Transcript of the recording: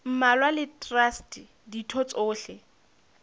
mmalwa le traste ditho tsohle